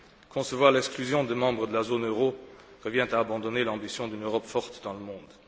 Concevoir l'exclusion de membres de la zone euro revient à abandonner l'ambition d'une Europe forte dans le monde.